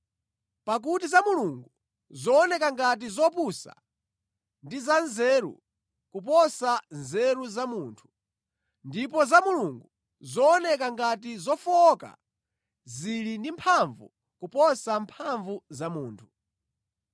Pakuti za Mulungu zooneka ngati zopusa, ndi za nzeru kuposa nzeru za munthu, ndipo za Mulungu zooneka ngati zofowoka, zili ndi mphamvu kuposa mphamvu za munthu.